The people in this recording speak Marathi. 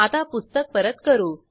ह्या मेथडवर जाऊ